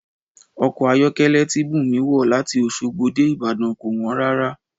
Ọkọ̀ ayọ̀kẹ́lẹ́ tí Bùnmi wọ̀ láti Oṣogbo dé Ibadan kò wọ́n rárá